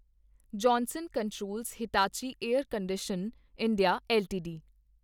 Johnson Controls Hitachi Air Condition India LTD